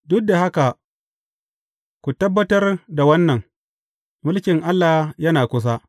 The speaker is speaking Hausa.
Duk da haka, ku tabbatar da wannan, Mulkin Allah yana kusa.